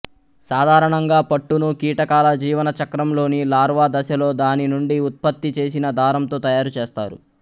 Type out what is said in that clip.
సాధారణంగా పట్టును కీటకాల జీవన చక్రంలోని లార్వా దశలో దాని నుండి ఉత్పత్తి చేసిన దారంతో తయారుచేస్తారు